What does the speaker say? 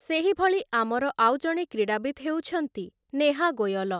ସେହିଭଳି ଆମର ଆଉ ଜଣେ କ୍ରୀଡ଼ାବିତ୍‌ ହେଉଛନ୍ତି ନେହା ଗୋୟଲ ।